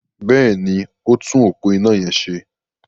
Bẹ́ẹ̀ni, ó ń tún òpó iná yẹn ṣe.